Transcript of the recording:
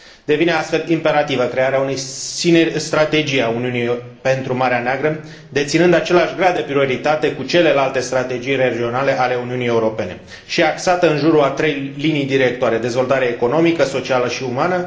Devine, astfel, imperativă crearea unei strategii a Uniunii pentru Marea Neagră, deținând același grad de prioritate cu celelalte strategii regionale ale Uniunii Europene și axată în jurul a trei linii directoare dezvoltarea economică, socială și umană